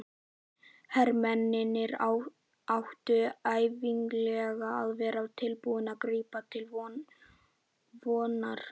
Hermennirnir áttu ævinlega að vera tilbúnir að grípa til vopna.